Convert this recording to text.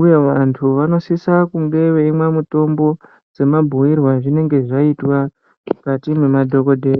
uye vantu vanosisa kumwe mitombo semabhuirwe azvinenge zvaitwa mukati mwemadhokodheya.